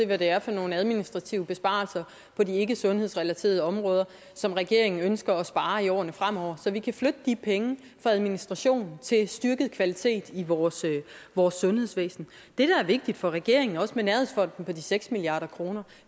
hvad det er for nogle administrative besparelser på de ikkesundhedsrelaterede områder som regeringen ønsker at spare i årene fremover så vi kan flytte de penge fra administration til styrket kvalitet i vores vores sundhedsvæsen det der er vigtigt for regeringen også med nærhedsfonden på de seks milliard kr